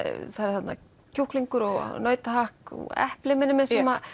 eru kjúklingur og nautahakk og epli minnir mig